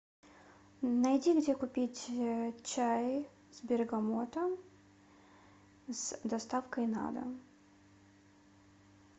найди где купить чай с бергамотом с доставкой на дом